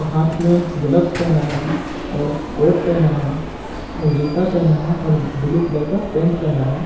हाथ में ग्लव्स पहना है और कोट पहना है और जूता पहना है और ब्लू कलर का पेंट पहना है।